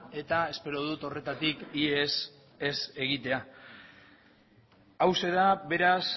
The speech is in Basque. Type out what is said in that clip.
eta espero dut horretatik ihes ez egitea hauxe da beraz